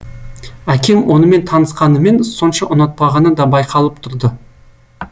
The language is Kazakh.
әкем онымен танысқанымен сонша ұнатпағаны да байқалып тұрды